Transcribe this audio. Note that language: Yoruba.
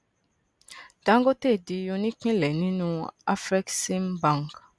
dangote di onípínlẹ nínú afreximbank